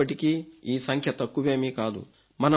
అయినప్పటికీ ఈ సంఖ్య తక్కువేమీ కాదు